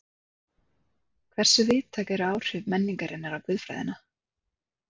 Hversu víðtæk eru áhrif menningarinnar á guðfræðina?